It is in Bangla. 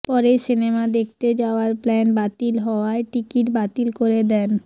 পরে সিনেমা দেখতে যাওয়ার প্ল্যান বাতিল হওয়ায় টিকিট বাতিল করে দেন